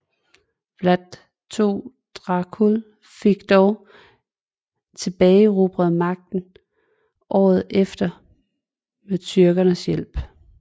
Vlad II Dracul fik dog tilbageerobret magten året efter med tyrkernes hjælp